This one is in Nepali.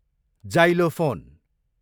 जाइलोफोन